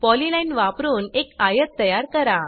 polyline वापरुन एक आयत तयार करा